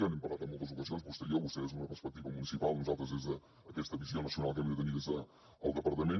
n’hem parlat en moltes ocasions vostè i jo vostè des d’una perspectiva municipal nosaltres des d’aquesta visió nacional que hem de tenir des del departament